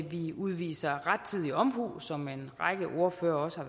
vi udviser rettidig omhu som en række ordførere også